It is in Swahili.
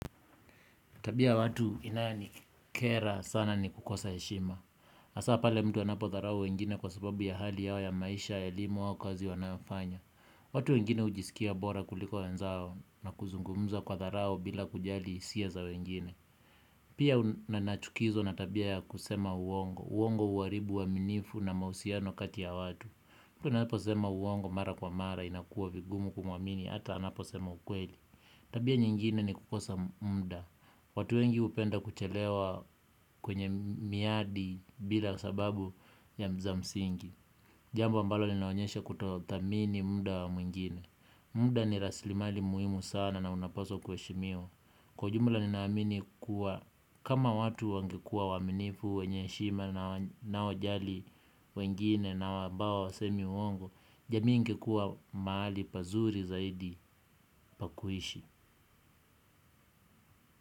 Tabia ya watu inayonikera sana ni kukosa heshima. Hasa pale mtu anapodharau wengine kwa sababu ya hali yao ya maisha ya elimu au kazi wanayofanya. Watu wengine hujisikia bora kuliko wenzao na kuzungumza kwa dharau bila kujali hisia za wengine. Pia nachukizwa na tabia ya kusema uongo. Uongo huharibu uaminifu na mahusiano kati ya watu. Mtu anaposema uongo mara kwa mara inakuwa vigumu kumwamini hata anaposema ukweli. Tabia nyingine ni kukosa muda. Watu wengi hupenda kuchelewa kwenye miadi bila sababu za msingi. Jambo ambalo linaonyesha kutothamini muda wa mwingine. Muda ni rasilimali muhimu sana na unapaswa kuheshimiwa. Kwa jumla ninaamini kuwa kama watu wangekuwa waaminifu, wenye heshima na wanaojali wengine na ambao hawasemi uongo, jamii ingekuwa mahali pazuri zaidi pa kuishi.